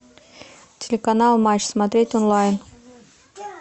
телеканал матч смотреть онлайн